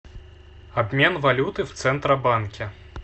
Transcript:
обмен валюты в центробанке